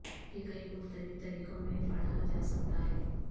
یہ کئی مختلف طریقوں میں پڑھا جا سکتا ہے